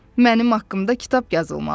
Mənim haqqımda kitab yazılmalı idi.